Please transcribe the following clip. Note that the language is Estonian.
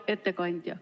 Hea ettekandja!